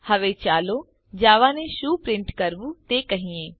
હવે ચાલો જાવા ને શું પ્રિન્ટ કરવું તે કહીએ